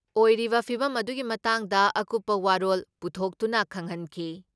ꯑꯣꯏꯔꯤꯕ ꯐꯤꯚꯝ ꯑꯗꯨꯒꯤ ꯃꯇꯥꯡꯗ ꯑꯀꯨꯞꯄ ꯋꯥꯔꯣꯜ ꯄꯨꯊꯣꯛꯇꯨꯅ ꯈꯪꯍꯟꯈꯤ ꯫